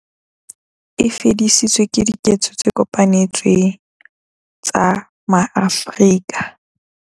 E fedisitswe ke diketso tse kopanetsweng tsa ma-Afrika.